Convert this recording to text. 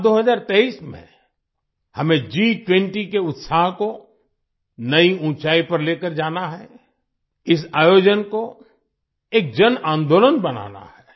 साल 2023 में हमें G20 के उत्साह को नई ऊँचाई पर लेकर जाना है इस आयोजन को एक जनआंदोलन बनाना है